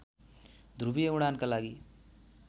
ध्रुवीय उडानका लागि